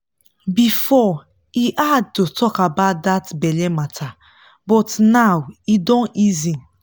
before e hard to talk about that belle matter but now e don easy.